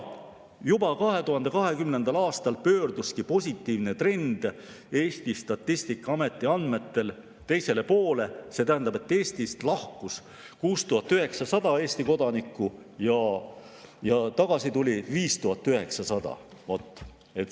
Juba 2020. aastal pöörduski positiivne trend Eesti Statistikaameti andmetel teisele poole, see tähendab, et Eestist lahkus 6900 Eesti kodanikku ja tagasi tuli 5900.